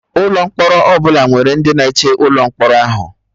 Ụlọ mkpọrọ ọbụla nwere ndị na-eche ụlọ mkpọrọ ahụ